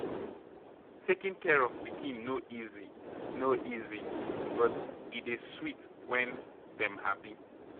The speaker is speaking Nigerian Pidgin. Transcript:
Taking care of pikin no easy no easy, but e dey sweet when dem happy.